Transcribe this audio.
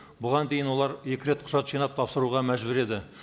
бұған дейін олар екі рет құжат жинап тапсыруға мәжбүр еді